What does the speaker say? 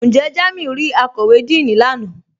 Njẹ́ Jàmíù rí àkọ́wé Díìní lánà?